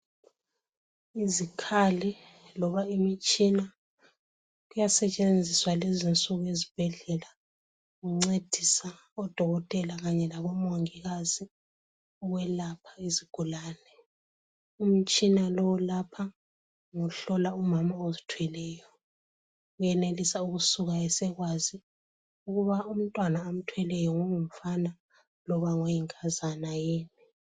Izikhali loba imitshina kuyasetshenziswa lezi nsuku eZibhedlela kuncedisa oDokotela kanye labo Mongikazi ukwelapha izigulane , umtshina lo olapha ngohlola umama ozithweleyo ,uyenelisa ukusuka esekwazi ukuba umntwana amthweleyo ngongumfana loba ngoyinkazana yini.